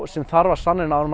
sem þarf að sannreyna áður